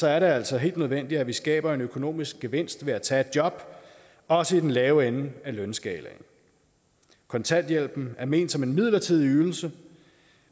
er det altså helt nødvendigt at vi skaber en økonomisk gevinst ved at tage et job også i den lave ende af lønskalaen kontanthjælpen er ment som en midlertidig ydelse